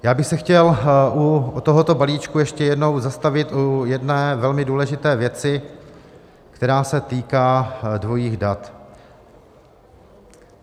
Já bych se chtěl u tohoto balíčku ještě jednou zastavit u jedné velmi důležité věci, která se týká dvojích dat.